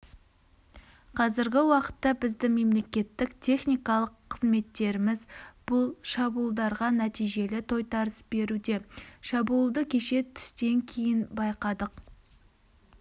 қазіргі уақытта бізді мемлекеттік техникалық қызметтеріміз бұл шабуылдарға нәтижелі тойтарыс беруде шабуылды кеше түстен кейін байқадық